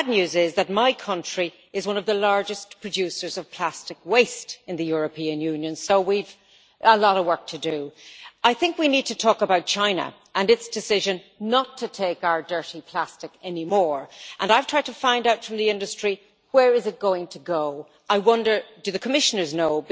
The bad news is that my country is one of the largest producers of plastic waste in the European Union, so we've got a lot of work to do. We need to talk about China and its decision not to take our dirty plastic anymore. I've tried to find out from the industry where it is going to go. I wonder, do the Commissioners know?